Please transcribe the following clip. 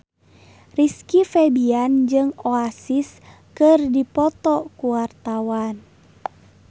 Rizky Febian jeung Oasis keur dipoto ku wartawan